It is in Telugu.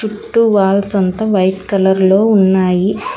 టు వాల్స్ అంతా వైట్ కలర్ లో ఉన్నాయి.